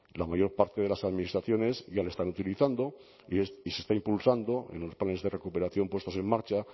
la mayor parte de las administraciones ya lo están utilizando y se está impulsando en los planes de recuperación puestos en marcha